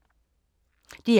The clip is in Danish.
DR K